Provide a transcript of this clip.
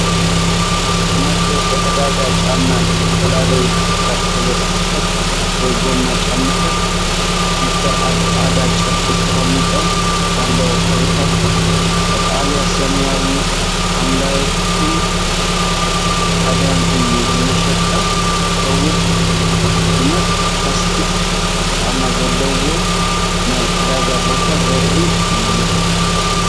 ናይ ደገ ዕዳጋ ጫማ ፣ ዝተፈላለዩ ሕብራዊ ፕላስቲክ ወይ ጎማ ጫማታት/ስሊፐር ኣብ ጻዕዳ ጨርቂ ተቐሚጦም ኣለዉ። ሕብርታቱ ቀጠልያ፡ ሰማያዊ፡ ሐምላይን ጻዕዳን እዩ። ንመሸጣ ዝኸውን ድሙቕ ፕላስቲክ ጫማ ዘለዎ ናይ ዕዳጋ ቦታ ዘርኢ እዩ።